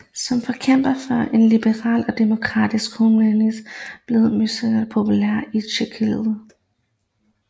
Som forkæmper for en liberal og demokratisk humanisme blev Masaryk populær i Tjekkoslovakiet